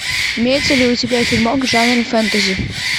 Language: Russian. имеется ли у тебя фильмок в жанре фэнтези